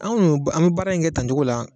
Anw k'u y'o an ka baara in kɛ tancogo la.